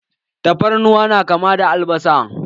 Tafarnuwa na kama da albasa.